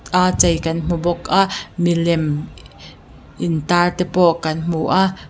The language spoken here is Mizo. aa chei kan hmu bawk a milem intâr te pawh kan hmu a chua--